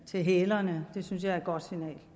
til hælerne synes jeg er et godt signal